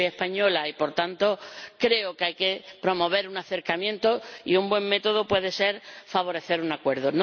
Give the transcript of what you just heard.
Yo soy española y, por tanto, creo que hay que promover un acercamiento y un buen método puede ser favorecer un acuerdo.